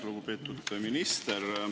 Lugupeetud minister!